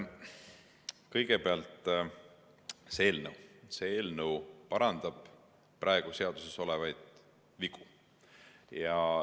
Kõigepealt, see eelnõu parandab praegu seaduses olevaid vigu.